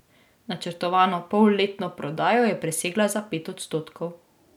Načrtovano polletno prodajo je presegla za pet odstotkov.